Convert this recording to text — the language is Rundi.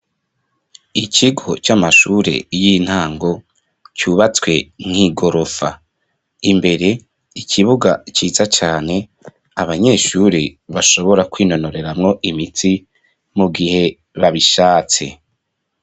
Ikigo c'amashure y'intango cubatswe nk'igorofa imbere ikibuga ciza cane abanyeshure bashobora kwinanoreramwo imitsi mu gihe babishatse.